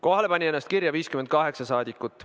Kohalolijaks pani ennast kirja 58 rahvasaadikut.